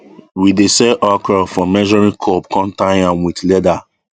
we dey sell okra for measuring cup com tie am with leather